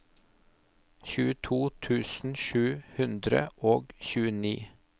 tjueto tusen sju hundre og tjueni